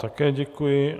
Také děkuji.